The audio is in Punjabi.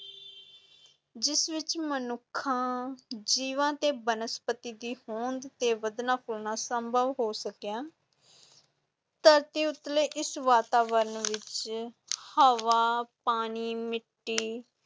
ਜਿਸ ਵਿਚ ਮਨੁੱਖਾਂ ਜੀਵਾਂ ਅਤੇ ਬਨਸਪਤੀ ਦੀ ਹੋਂਦ ਤੇ ਵਧਣਾ ਫੁਲਣਾ ਸੰਭਵ ਹੋ ਸਕਿਆ ਧਰਤੀ ਉਤਲੇ ਇਸ ਵਾਤਾਵਰਨ ਵਿੱਚ ਹਵਾ, ਪਾਣੀ, ਮਿੱਟੀ,